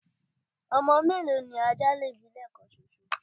ọmọ mélòó ni ajá lè bí lẹẹkan ṣoṣo?